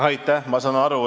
Aitäh!